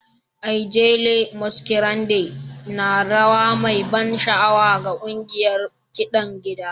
Ijele masquerade na rawa mai ban sha'awa ga ƙungiyar kiɗan gida